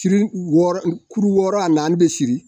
Siri wɔɔrɔ kuru wɔɔrɔ a naani bɛ siri.